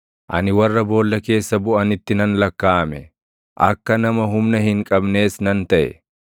Ani warra boolla keessa buʼanitti nan lakkaaʼame; akka nama humna hin qabnees nan taʼe.